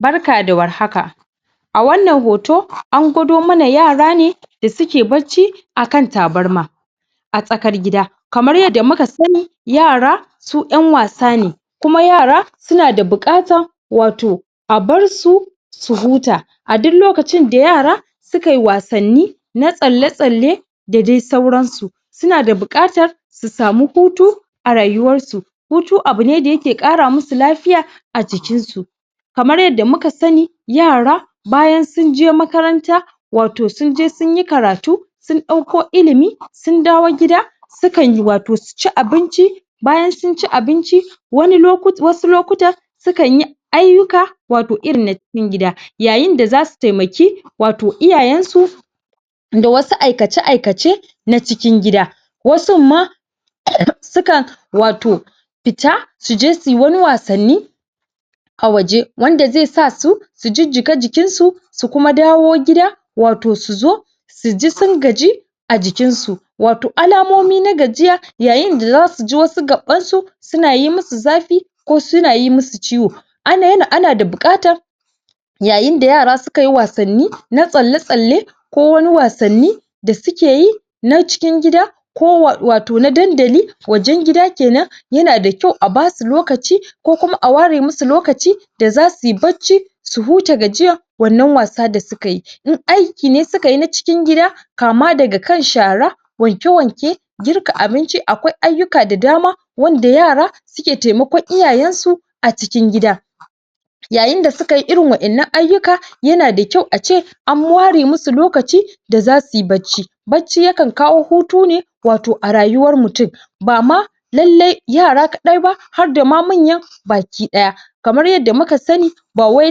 Barka da warhaka a wannan hoto an gwado mana yara ne da suke bacci akan tabarma a tsakar gida kamar yadda muka sani yara su ƴan wasa ne kuma yara suna da buƙatar wato a barsu su huta a duk lokacin da yara sukayi wasanni na tsalle-tsalle dadai sauran su sunada buƙatar su samu hutu a rayuwarsu hutu abune da yake ƙara musu lafiya a jiknsu kamar yadda muka sani yara bayan sunje makaranta wato sunje sunyi karatu sun ɗauko ilimi sun dawo gida sunkan wato, suci abinci bayan sunci abinci wasu lokutan sukanyi ayyyuka wato irin na cikin gida wato yayin da zasu taimaki wato iyayensu da wasu aikace-aikace na cikin gida wasunma sukan wato fita suje suyi wani wasanni a waje wanda zai sasu su jijjiƙa jikin su su kuma dawo gida wato su zo suji sun gaji a jikinsu wato alamomi na gajiya yayinda zasu ji wasu gaɓɓansu suna yi musu zafi ko suna yi musu ciwo ana da buƙatar yayinda yara suka yi wasanni na tsalle-tsalle ko wani wasanni da suke yi na cikin gida ko wato na dandali wajen gida kenan yanada kyau a basu lokaci ko kuma a ware musu lokaci da za su yi bacci su huta gajiya wannan wasa da suka yi, in aiki ne sukayi na cikin gida kama daga kan shara wanke-wanke girka abinci akwai ayyuka da dama wanda yara suke taimakon iyayensu a cikin gida yayin da suka yi irin waɗannan ayyuka, yana da kyau ace an ware musu lokaci da zasu yi bacci, bacci yakan kawo hutu ne wato a rayuwar mutum bama lallai yara kaɗai ba harda ma manya baki ɗaya kamar yadda muka sani bawai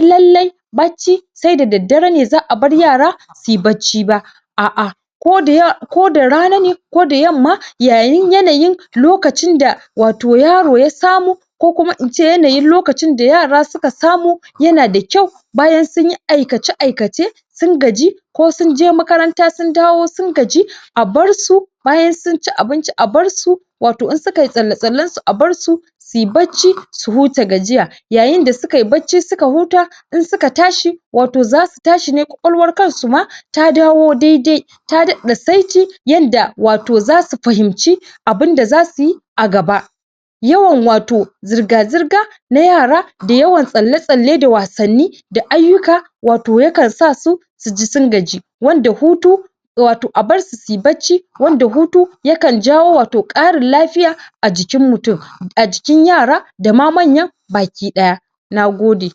lallai bacci saida daddare ne za'a bar yara su yi bacci ba a'a koda ya koda rana ne koda yamma yayin ko yanayin lokacinda wato yaro ya samu ko kuma ince yanayin lokacin da yara suka samu yanada kyau bayan sunyi aikace-aikace sun gaji ko sunje makaranta sundawo sun gaji a barsu bayan sunci abinci a barsu wato in sukayi tsalle-tsallen su a barsu su yi bacci su huta gajiya yayinda suka yi bacci suka huta in suka tashi wato zasu tashine kwakwalwar kansu ma ta dawo daidai ta daɗa saiti yanda, wato zasu fahimci abinda zasu yi yawan wato zirga-zirga na yara da yawan tsalle-tsalle da wasanni da ayyuka wato yakan sasu suji sun gaji wanda hutu wato a barsu suyi bacci wanda hutu yakan jawo wato ƙarin lafiya a jikin mutum, a jikin yara dama manya baki ɗaya nagode